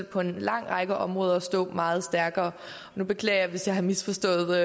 på en lang række områder stå meget stærkere jeg beklager hvis jeg har misforstået